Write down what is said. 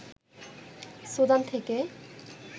Sudan থেকে